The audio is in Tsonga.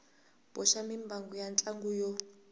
boxa mimbangu ya ntlhanu yo